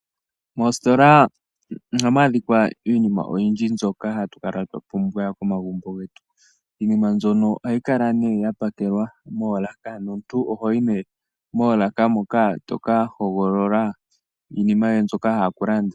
Mositola ohamu adhika iinima oyindji mbyoka hatu kala twa pumbwa momagumbo getu iinima mbyono ohayi kala nee yapakelwa moolaka nomuntu ohoyi nee moolaka moka toka hogolola iinima yoye mbyoka wa hala okulanda.